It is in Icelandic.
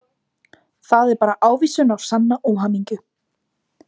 Það er bara ávísun á sanna óhamingju.